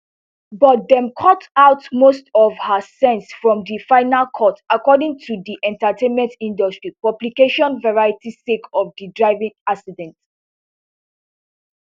but dem cut out most of her scenes from di final cut according to di entertainmentindustry publication variety sake of di driving accident